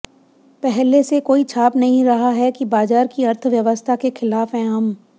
पहले से कोई छाप नहीं रहा है कि बाजार की अर्थव्यवस्था के खिलाफ हैं हम